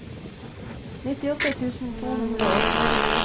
nittiåtte tusen to hundre og to